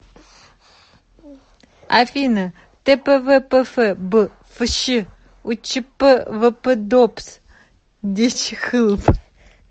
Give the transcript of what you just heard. афина тпвпф б фщ учпвпдобс дечхылб